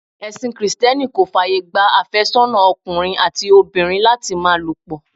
Ẹsin Kirìtẹ́nì kò fàyè gba afésónà ọkùnrin àti obìnrin láti máa lo pọ̀.